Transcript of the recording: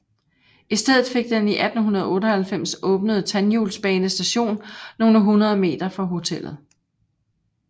I stedet fik den i 1898 åbnede tandhjulsbane station nogle hundrede meter fra hotellet